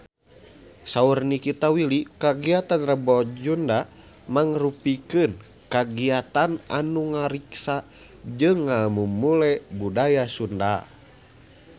Saur Nikita Willy kagiatan Rebo Nyunda mangrupikeun kagiatan anu ngariksa jeung ngamumule budaya Sunda